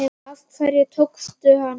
Af hverju tókstu hana ekki?